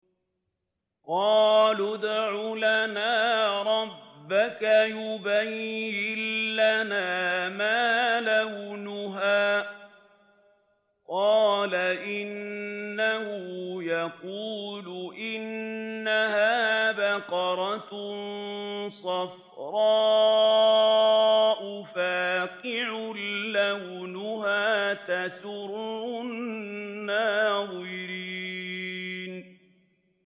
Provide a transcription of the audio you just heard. قَالُوا ادْعُ لَنَا رَبَّكَ يُبَيِّن لَّنَا مَا لَوْنُهَا ۚ قَالَ إِنَّهُ يَقُولُ إِنَّهَا بَقَرَةٌ صَفْرَاءُ فَاقِعٌ لَّوْنُهَا تَسُرُّ النَّاظِرِينَ